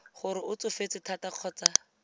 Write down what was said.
gore o tsofetse thata kgotsa